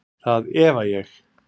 Það efa ég.